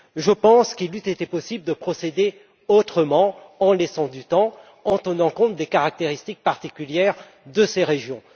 Je pense qu'il eût été possible de procéder autrement, en laissant du temps, en tenant compte des caractéristiques particulières de ces régions.